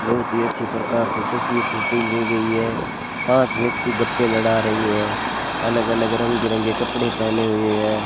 बहुत ही अच्छी प्रकार से तस्वीर शूटिंग की गई है पांच व्यक्ति गप्पे लड़ा रही है अलग अलग रंग बिरंगे कपड़े पहने हुए है।